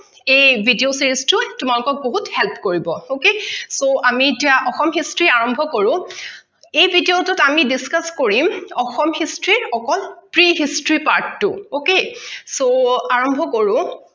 এই Video Series টো তোমালোকক বহুত Help কৰিব okay তৌ আমি এতিয়া অসম History আৰম্ভ কৰো এই video টোত আমি Discuss কৰিম অসম history অকল pre history part টো আৰম্ভ কৰো